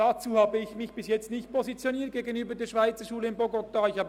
Dazu habe ich mich gegenüber der Schweizerschule in Bogotá bisher noch nicht positioniert.